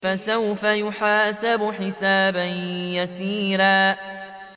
فَسَوْفَ يُحَاسَبُ حِسَابًا يَسِيرًا